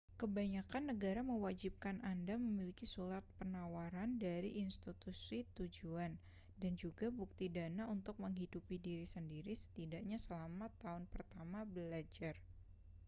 kebanyakan negara mewajibkan anda memiliki surat penawaran dari institusi tujuan dan juga bukti dana untuk menghidupi diri sendiri setidaknya selama tahun pertama belajar